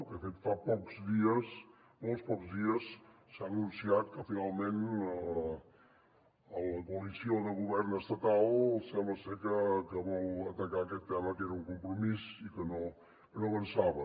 de fet fa pocs dies molt pocs dies s’ha anunciat que finalment la coalició de govern estatal sembla ser que vol atacar aquest tema que era un compromís i que no avançava